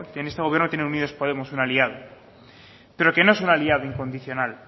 en este gobierno un aliado pero que no es un aliado incondicional